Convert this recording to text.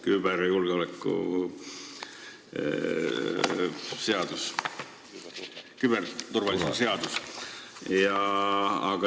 Küberjulgeoleku seadus, küberturvalisuse seadus?